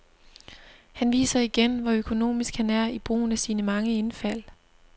Han viser igen, hvor økonomisk han er i brugen af sine mange indfald.